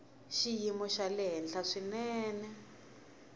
xiyimo xa le henhla swinene